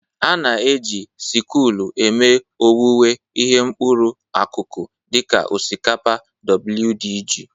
A na-eji sịkụlụ eme owuwe ihe mkpụrụ akụkụ dị ka osikapa wdg.